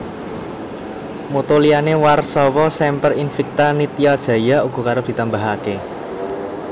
Motto liyané Warsawa Semper invicta Nitya jaya uga arep ditambahaké